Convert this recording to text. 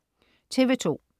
TV2: